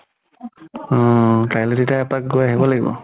অহ। কাইলে তেতিয়া এপাক গৈ আহব লাগিব।